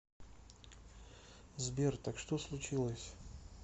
сбер так что случилось